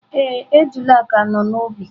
Ee, ejula ka nọ n’ubi.